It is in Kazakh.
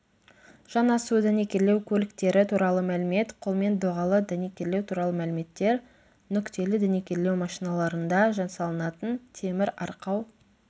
жанасу дәнекерлеу көліктері туралы мәлімет қолмен доғалы дәнекерлеу туралы мәліметтер нүктелі дәнекерлеу машиналарында жасалынатын темір арқау